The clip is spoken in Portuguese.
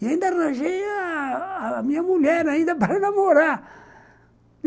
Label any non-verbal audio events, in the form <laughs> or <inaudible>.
E ainda arranjei a a minha mulher ainda para <laughs> namorar.